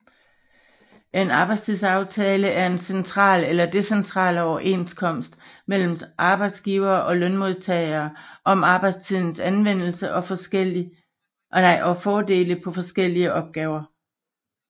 En arbejdstidsaftale er en central eller decentral overenskomst mellem arbejdsgivere og lønmodtagere om arbejdstidens anvendelse og fordeling på forskellige opgaver